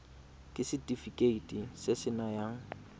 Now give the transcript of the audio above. ke setefikeiti se se nayang